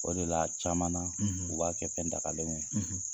O de la caman na u b'a kɛ fɛndagalenw ye.